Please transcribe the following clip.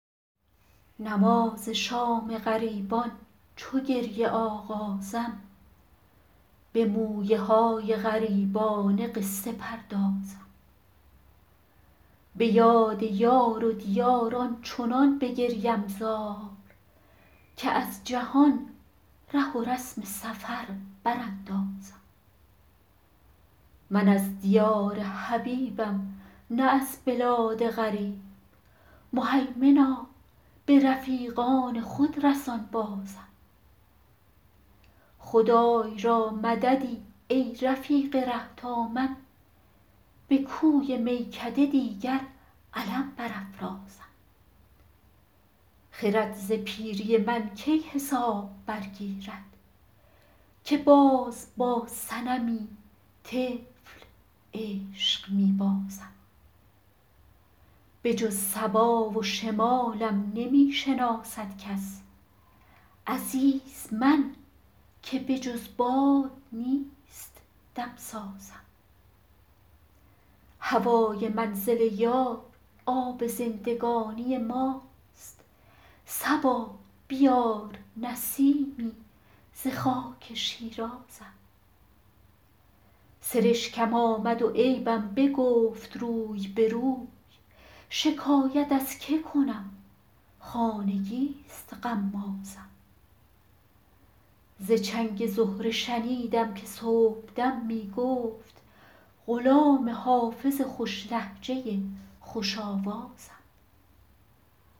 نماز شام غریبان چو گریه آغازم به مویه های غریبانه قصه پردازم به یاد یار و دیار آنچنان بگریم زار که از جهان ره و رسم سفر براندازم من از دیار حبیبم نه از بلاد غریب مهیمنا به رفیقان خود رسان بازم خدای را مددی ای رفیق ره تا من به کوی میکده دیگر علم برافرازم خرد ز پیری من کی حساب برگیرد که باز با صنمی طفل عشق می بازم بجز صبا و شمالم نمی شناسد کس عزیز من که بجز باد نیست دم سازم هوای منزل یار آب زندگانی ماست صبا بیار نسیمی ز خاک شیرازم سرشکم آمد و عیبم بگفت روی به روی شکایت از که کنم خانگی ست غمازم ز چنگ زهره شنیدم که صبح دم می گفت غلام حافظ خوش لهجه خوش آوازم